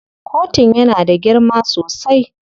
Kotun yana da girma sosai.